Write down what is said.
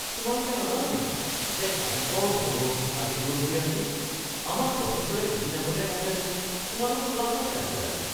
তোমালোকে নাজানা নেকি যে অংকৰ হোমৱৰ্কটো আজি দিবলগীয়া আছিল? আমাক প্ৰফেছৰে দুদিন আগতে কওঁতে দেখোন তোমালোক ক্লাছতে আছিলা।